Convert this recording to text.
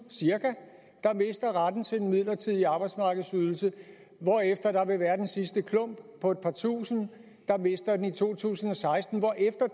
der mister retten til den midlertidige arbejdsmarkedsydelse hvorefter der vil være den sidste klump på et par tusind der mister den i to tusind og seksten hvorefter